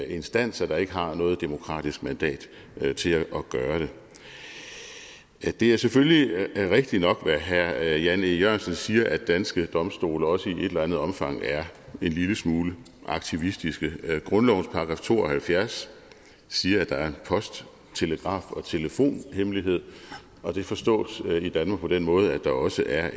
instanser der ikke har noget demokratisk mandat til at gøre det det er selvfølgelig rigtigt nok hvad herre jan e jørgensen siger nemlig at danske domstole også i et eller andet omfang er en lille smule aktivistiske grundlovens § to og halvfjerds siger at der er post telegraf og telefonhemmelighed og det forstås i danmark på den måde at der også er